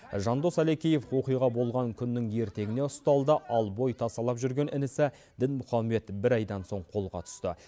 жандос әлекеев оқиға болған күннің ертеңіне ұсталды ал бой тасалап жүрген інісі дінмұхаммед бір айдан соң қолға түсті